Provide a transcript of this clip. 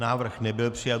Návrh nebyl přijat.